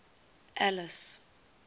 alice